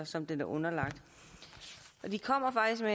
som den er underlagt de kommer